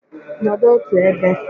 Nọdụ otu ebe!